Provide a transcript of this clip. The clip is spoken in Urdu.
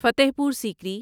فتح پور سیکری